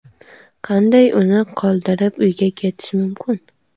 Qanday uni qoldirib, uyga ketish mumkin?